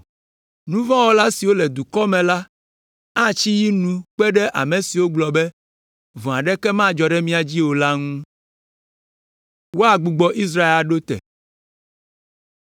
Nu vɔ̃ wɔla siwo le nye dukɔ me la atsi yi nu kpe ɖe ame siwo gblɔ be, ‘Vɔ̃ aɖeke madzɔ ɖe mía dzi o,’ la ŋu.”